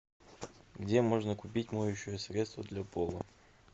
где можно купить моющее средство для пола